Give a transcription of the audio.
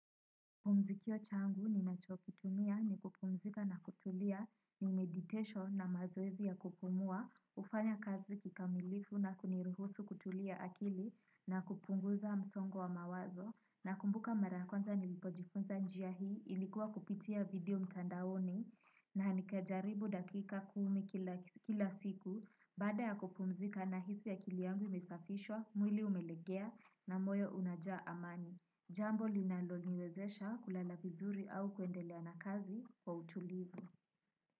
Pumzikio changu ni nachokitumia ni kupumzika na kutulia ni meditesho na mazoezi ya kupumua, ufanya kazi kikamilifu na kunirihusu kutulia akili na kupunguza msongo wa mawazo. Na kumbuka marakwanza nilipojifunza njia hii ilikuwa kupitia video mtandaoni na nikajaribu dakika kuumi kila siku bada ya kupumzika na hisi ya kili yangu imesafishwa, mwili umelekea na moyo unajaa amani. Jambo linalo niwezesha kulala vizuri au kuendelea na kazi kwa utulivu.